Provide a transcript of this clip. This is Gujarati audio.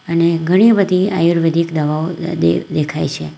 અને ઘણી બધી આયુર્વેદિક દવાઓ દ-દે દેખાય છે.